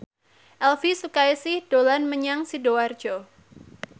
Elvi Sukaesih dolan menyang Sidoarjo